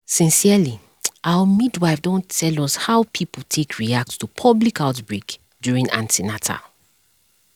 sincerely our midwife don tell us how people take react to public outbreak during an ten atal